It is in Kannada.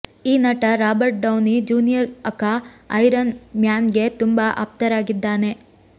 ಈ ನಟ Robert Downey Junior aka Iron ಮ್ಯಾನ್ಗೆ ತುಂಬಾ ಆಪ್ತರಾಗಿದ್ದಾನೆ